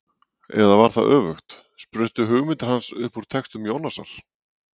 Eða var það öfugt: spruttu hugmyndir hans upp úr textum Jónasar?